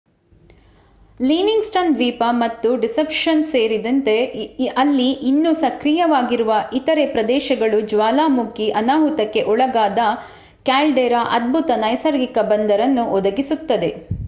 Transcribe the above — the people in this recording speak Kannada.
ಲಿವಿಂಗ್‌ಸ್ಟನ್ ದ್ವೀಪ ಮತ್ತು ಡಿಸೆಪ್ಷನ್ ಸೇರಿದೆತೆ ಅಲ್ಲಿ ಇನ್ನೂ ಸಕ್ರಿಯವಾಗಿರುವ ಇತರೆ ಪ್ರದೇಶಗಳು ಜ್ವಾಲಾಮುಖಿ ಅನಾಹುತಕ್ಕೆ ಒಳಗಾದ ಕ್ಯಾಲ್ಡೆರಾ ಅದ್ಭುತ ನೈಸರ್ಗಿಕ ಬಂದರನ್ನು ಒದಗಿಸುತ್ತದೆ